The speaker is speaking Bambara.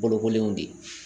Bolokoliw de